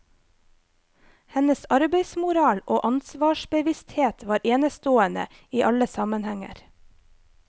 Hennes arbeidsmoral og ansvarsbevissthet var enestående i alle sammenhenger.